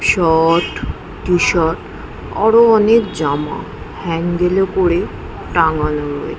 shorts T- shirt আরো অনেক জামা হ্যান্ডেল - এ করে টাঙানো রয়ে--